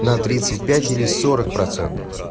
на тридцать пять или сорок процентов